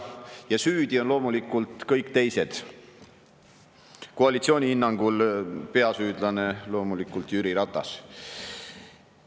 Ja süüdi on loomulikult kõik teised, koalitsiooni hinnangul on peasüüdlane loomulikult Jüri Ratas.